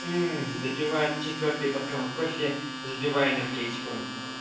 допивает четвёртый бокал кофе запивая энергетиком